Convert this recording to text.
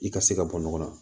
I ka se ka bɔ ɲɔgɔn na